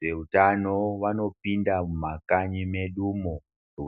Vezveutano vanopinda mumakanyi medumo